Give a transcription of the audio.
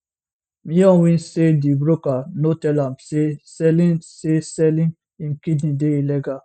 myo win say di broker no tell am say selling say selling im kidney dey illegal